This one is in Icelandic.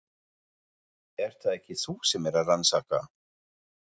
Ert það ekki þú sem ert að rannsaka.